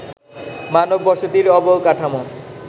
মানব বসতির অবকাঠামো